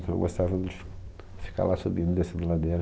Então eu gostava de fi... ficar lá subindo e descendo a ladeira.